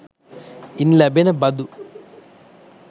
ඉන් ලැබෙන බදු